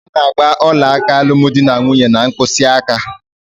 A na-agba ọlaaka alụmdinanwunye n'mkpịsịaka.